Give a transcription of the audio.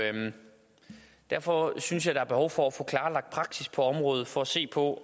derfor synes jeg der er behov for at få klarlagt praksis på området for at se på